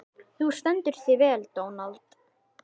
Þú stendur þig vel, Dónald!